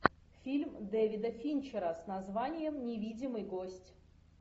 фильм дэвида финчера с названием невидимый гость